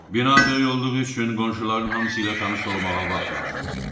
Bina böyük olduğu üçün qonşuların hamısı ilə tanış olmağa vaxt lazım idi.